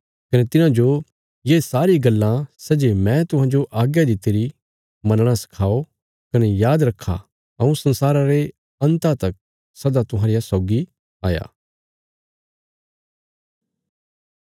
कने तिन्हांजो ये सारी गल्लां सै जे मैं तुहांजो आज्ञा दित्तिरी मनणा सखाओ कने याद रखा हऊँ संसारा रे अन्ता तक सदा तुहांरिया सौगी आ